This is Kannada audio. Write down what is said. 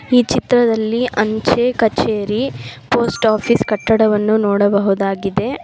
ಈ ಚಿತ್ರದಲ್ಲಿ ಅಂಚೆ ಕಚೇರಿ ಪೋಸ್ಟ್ ಆಫೀಸ್ ಕಟ್ಟಡವನ್ನು ನೋಡಬಹುದಾಗಿದೆ.